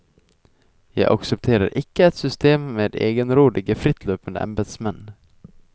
Jeg aksepterer ikke et system med egenrådige, frittløpende embedsmenn.